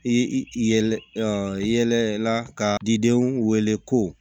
I yɛlɛlɛ i yɛlɛla ka di denw wele ko